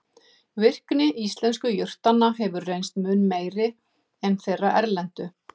Virkni íslensku jurtanna hefur reynst mun meiri en þeirra erlendu.